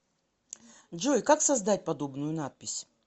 джой как создать подобную надпись